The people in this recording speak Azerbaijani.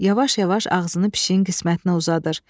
Yavaş-yavaş ağzını pişiyin qismətinə uzadır.